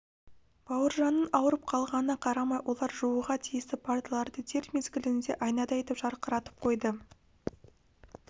бауыржанның ауырып қалғанына қарамай олар жууға тиісті парталарды дер мезгілінде айнадай етіп жарқыратып қойды